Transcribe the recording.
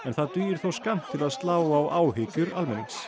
það dugir þó skammt til að slá á áhyggjur almennings